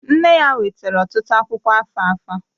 Nne ya wetara ọtụtụ akwụkwọ alfalfa